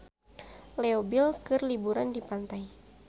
Leo Bill keur liburan di pantai